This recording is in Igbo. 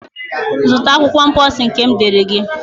Zụta akwụkwọ mposi nke m deere gị!